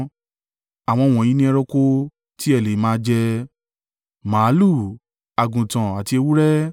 Àwọn wọ̀nyí ni ẹranko tí ẹ lè máa jẹ: màlúù, àgùntàn àti ewúrẹ́,